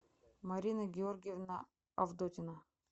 марина георгиевна авдотина